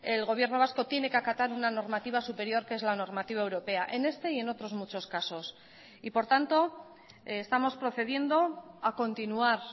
el gobierno vasco tiene que acatar una normativa superior que es la normativa europea en este y en otros muchos casos y por tanto estamos procediendo a continuar